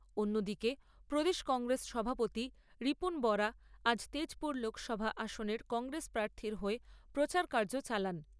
অন্যদিকে প্রদেশ কংগ্রেস সভাপতি রিপুন বরা আজ তেজপুর লোকসভা আসনের কংগ্রেস প্রার্থীর হয়ে প্রচারকার্য চালান।